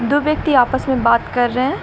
दो व्यक्ति आपस में बात कर रहे हैं।